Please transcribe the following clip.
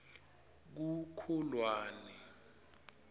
kukholwane